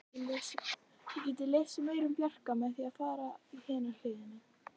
Þið getið lesið meira um Bjarka með því að fara í hina hliðina.